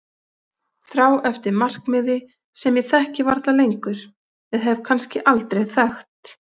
Þrá eftir markmiði sem ég þekki varla lengur eða hef kannski aldrei þekkt.